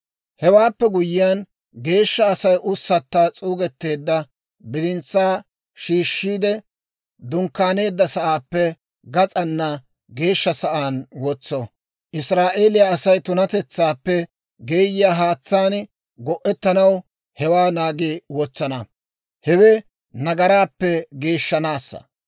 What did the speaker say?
«Hewaappe guyyiyaan, geeshsha Asay ussatta s'uugetteedda bidintsaa shiishiide, dunkkaaneedda sa'aappe gas'aana geeshsha sa'aan wotso. Israa'eeliyaa Asay tunatetsaappe geeyiyaa haatsaan go'ettanaw hewaa naagi wotsana; hewe nagaraappe geeshshanaassa.